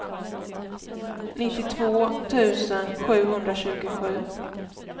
nittiotvå tusen sjuhundratjugosju